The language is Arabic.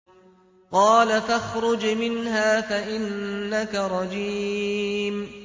قَالَ فَاخْرُجْ مِنْهَا فَإِنَّكَ رَجِيمٌ